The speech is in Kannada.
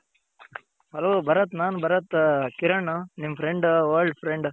Hello ಭರತ್ ನಾನ್ ಭರತ್ ಕಿರಣ್ ನಿಮ್ Friend old Friend.